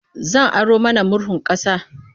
Zan aro mana murhun ƙasa.